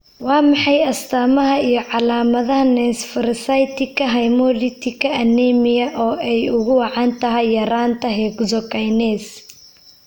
Waa maxay astamaha iyo calaamadaha Nonspherocytika hemolytika anemia oo ay ugu wacan tahay yaraanta hexokinase?